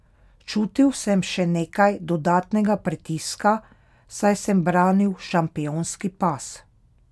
Čutil sem še nekaj dodatnega pritiska, saj sem branil šampionski pas.